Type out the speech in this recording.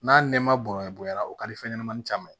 N'a nɛma bɔnyara o ka di fɛnɲɛnamanin caman ye